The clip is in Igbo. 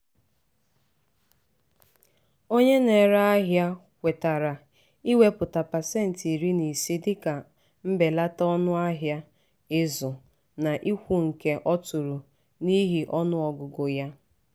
onye na-ere ahịa kwetara iwepụta pasenti iri na ise dịka mbelata ọnụ ahịa ịzụ n'ukwunke ọ tụrụ n'ihi ọnụ ọgụgụ ya.